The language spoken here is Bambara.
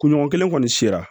Kunɲɔgɔn kelen kɔni sera